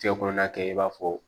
Cɛ kɔnɔna kɛ i b'a fɔ